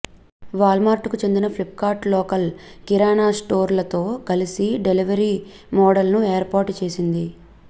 వాల్మార్ట్కు చెందిన Flipkart local kirana స్టోర్లతో కలిసి డెలివరీ మోడల్ను ఏర్పాటు చేసింది